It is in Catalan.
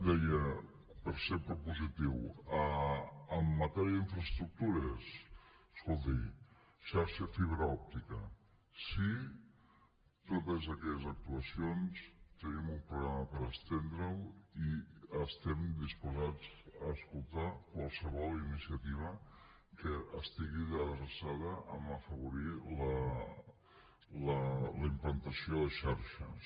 deia per ser propositiu en matèria d’infraestructures escolti xarxa de fibra òptica sí totes aquelles actuacions tenim un programa per estendre’l i estem disposats a escoltar qualsevol iniciativa que estigui adreçada a afavorir la implantació de xarxes